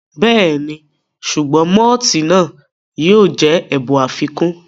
Bẹ́ẹ̀ni, sùgbọ́n mọ́tìì náà yóò jẹ́ ẹ̀bùn àfikún